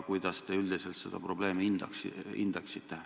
Kuidas te üldiselt seda probleemi hindate?